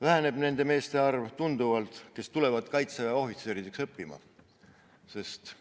Väheneb tunduvalt nende meeste arv, kes tulevad Kaitseväe ohvitseriks õppima, sest